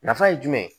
Nafa ye jumɛn ye